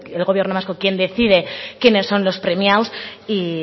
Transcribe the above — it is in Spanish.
el gobierno vasco quien decide quiénes son los premiados y